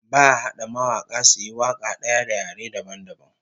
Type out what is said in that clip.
Ba'a hada mawaka suyi waka daya da yare dabam dabam